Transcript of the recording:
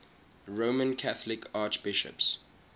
roman catholic archbishops